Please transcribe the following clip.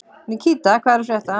Nikíta, hvað er að frétta?